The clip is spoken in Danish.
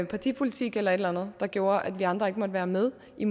partipolitik eller et eller andet der gjorde at vi andre ikke måtte være med i